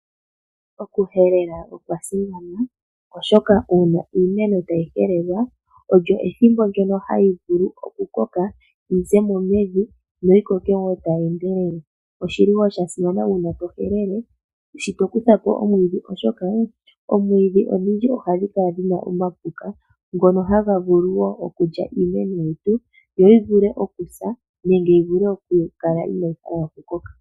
Okuhelela okwa simana oshoka uuna iimeno tayi kala tayi helelwa, olyo ethimbo ndyono hayi vulu okukoka, yi ze mo mevi, noyi koke wo tayi endelele. Oshili wo sha simana uuna to helele, shi to kutha po omwiidhi oshoka oomwiidhi odhindji ohadhi kala dhi na omapuka ngono haga vulu wo okulya iimeno yetu, yo yi vule okusa nenge yi vule okukala inaayi hala okukoka.